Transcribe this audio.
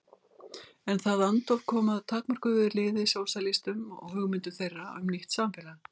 En það andóf kom að takmörkuðu liði sósíalistum og hugmyndum þeirra um nýtt samfélag.